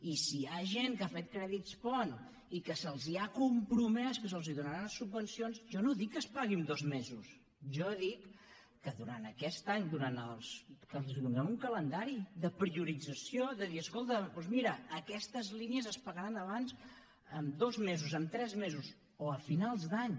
i si hi ha gent que ha fet crèdits ponts i que se’ls ha compromès que se’ls donaran unes subvencions jo no dic que es pagui en dos mesos jo dic que durant aquest any que els donem un calendari de priorització de dir escolta doncs mira aquestes línies es pagaran abans en dos mesos en tres mesos o a finals d’any